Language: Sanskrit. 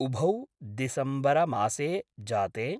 उभौ दिसम्बर मासे जाते